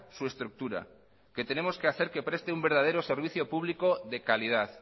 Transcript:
su estructura que tenemos que hacer que preste un verdadero servicio público de calidad